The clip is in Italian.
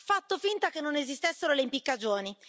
Ha fatto finta che non esistessero le impiccagioni.